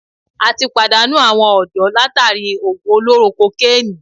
atí pàdánù awọn ọ̀dọ́ látàri òògùn olóró kokénìí.